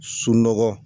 Sunɔgɔ